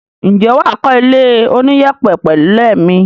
Ǹjẹ́ wà á kọ́ ilé oníyẹ̀pẹ̀ pẹ̀lẹ́ mi?